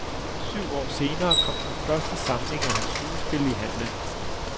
Syv år senere kom den første samling af hans skuespil i handlen.